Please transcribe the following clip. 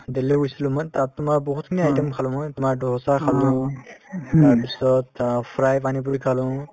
দেলহী গৈছিলো মই তাত তোমাৰ বহুতখিনি item খালো মই তোমাৰ ডোছা খালো তাৰপিছত অ fry pani puri খালো